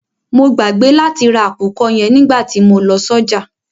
Mo gbàgbé láti ra àkùkọ yẹn nígbàtí mo lọ sọ́jà.